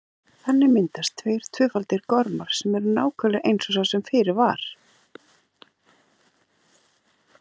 Þannig myndast tveir tvöfaldir gormar sem eru nákvæmlega eins og sá sem fyrir var.